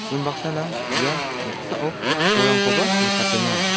un baksana ia noksao bolrangkoba nikatenga.